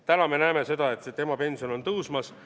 Täna me näeme seda, et emapension on tõusmas.